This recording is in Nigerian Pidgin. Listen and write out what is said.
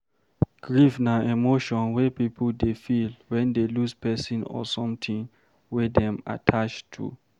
Grief na emotion wey pipo dey feel when dey lose person or something wey dem attached to